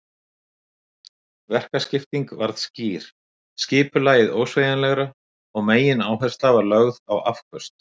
Verkaskipting varð skýr, skipulagið ósveigjanlegra og megináhersla var lögð á afköst.